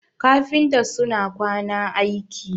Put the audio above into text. kafinta suna kwana aiki